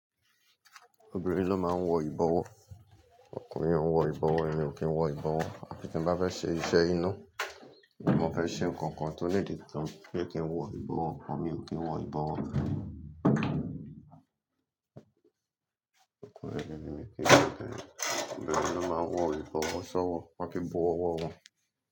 Obìnrin ló máa ń wọ ìbọwọ́, ọkùnrin ò ń wọ ìbọwọ́, èmi ò kí ń wọ ìbọwọ́ à fi ttí bá fẹ́ ṣe iṣẹ́ ina, bí mo fẹ́ ṣe nǹkan kan tó nídi tán ní kí n wọ ìbọwọ́, à mi ò kí ń wọ ìbọwọ́. Obìnrin ló máa ń wọ ìbọwọ́, ṣá wọ, máa fi bu ọwọ́ wọn.